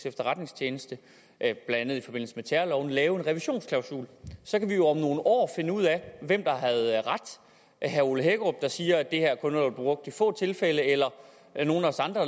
efterretningstjeneste blandt andet i forbindelse med terrorloven lave en revisionsklausul så kan vi jo om nogle år finde ud af hvem der havde ret herre ole hækkerup der siger at det her kun har været brugt i få tilfælde eller nogle af os andre